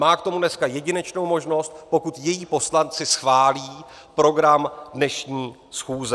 Má k tomu dneska jedinečnou možnost, pokud její poslanci schválí program dnešní schůze.